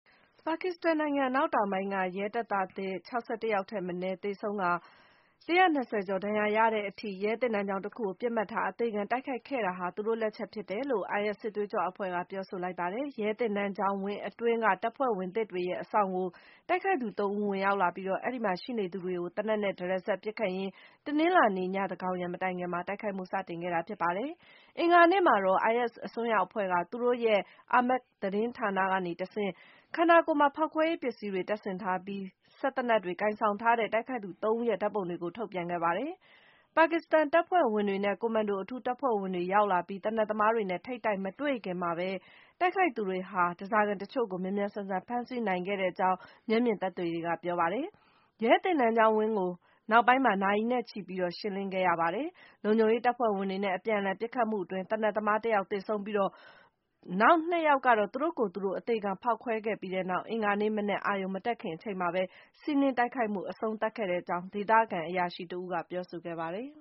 ပါကစ္စတန်နိုင်ငံ အနောက်တောင်ပိုင်းက ရဲတပ်သားသစ် ၆၁ ယောက်ထက်မနည်း သေဆုံးကာ ၁၂၀ ကျော် ဒဏ်ရာရခဲ့တဲ့အထိ - ရဲသင်တန်း ကျောင်းတခုကို ပစ်မှတ်ထား အသေခံတိုက်ခိုက်ခဲ့တာဟာ သူတို့လက်ချက်ဖြစ်တယ်လို့ IS စစ်သွေးကြွအဖွဲ့က ပြောဆိုလိုက်ပါတယ်။ ရဲသင်တန်းကျောင်းဝင်းအတွင်းက တပ်ဖွဲ့ဝင်သစ်တွေရဲ့ အဆောင်ကို တိုက်ခိုက်သူ ၃ ဦး ဝင်ရောက်လာပြီး၊ အဲဒီမှာရှိနေသူတွေကို သေနတ်နဲ့ တရစပ်ပစ်ခတ်ရင်း တနင်္လာနေ့ ညသန်းခေါင်ယံမတိုင်ခင်မှာ တိုက်ခိုက်မှု စတင်ခဲ့တာ ဖြစ်ပါတယ်။ အင်္ဂါနေ့မှာတော့ IS အစွန်းရောက်အဖွဲ့က သူတို့ရဲ့ Amaq သတင်းဌာနကတဆင့် - ခန္ဓာကိုယ်မှာ ဖောက်ခွဲရေးပစ္စည်းတွေ တပ်ဆင်ထားပြီး စက်သေနတ်တွေကိုင်ဆောင်ထားတဲ့ တိုက်ခိုက်သူ ၃ ဦးရဲ့ ဓာတ်ပုံတွေကို ထုတ်ပြန်ခဲ့ပါတယ်။ ပါကစ္စတန်တပ်ဖွဲ့ဝင်တွေနဲ့ ကွန်မန်ဒိုအထူးတပ်ဖွဲ့ဝင်တွေ ရောက်လာပြီး၊ သေနတ်သမားတွေနဲ့ ထိပ်တိုက်မတွေ့ခင်မှာပဲ - တိုက်ခိုက်သူတွေဟာ ဓားစာခံတချို့ကို မြန်မြန်ဆန်ဆန် ဖမ်းဆီးနိုင်ခဲ့ကြောင်း မျက်မြင်သက်သေတွေက ပြောဆိုပါတယ်။ ရဲသင်တန်းကျောင်းဝင်းကို နောက်ပိုင်းမှာ နာရီနဲ့ချီပြီး ရှင်းလင်းခဲ့ရပါတယ်။ လုံခြုံရေးတပ်ဖွဲ့ဝင်တွေနဲ့ အပြန်အလှန် ပစ်ခတ်မှုအတွင်း သေနတ်သမား ၁ ယောက် သေဆုံးခဲ့ပြီး၊ နောက် ၂ ယောက်ကတော့ သူတို့ကိုယ်သူတို့ အသေခံဖောက်ခွဲခဲ့ပြီးနောက် အင်္ဂါနေ့မနက် အာရုဏ်မတက်ခင်အချိန်မှာပဲ စီးနင်းတိုက်ခိုက်မှု အဆုံးသတ်ခဲ့ကြောင်း - ဒေသခံအရာရှိတဦးက ပြောဆိုခဲ့ပါတယ်